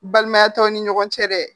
Balimaya t'ɔ aw ni ɲɔgɔn cɛ dɛ